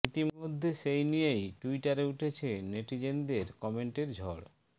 ইতি মধ্যে সেই নিয়েই টুইটারে উঠেছে নেটিজনদের কমেন্টের ঝড়